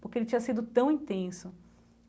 Porque ele tinha sido tão intenso.